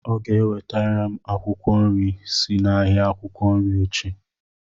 Ọ ga-ewetara m akwụkwọ nri si n'ahịa akwukwo nri echi.